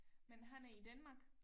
Men han er i Danmark?